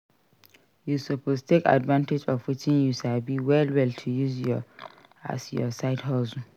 You suppose take advantage of wetin you sabi well well to use as your side hustle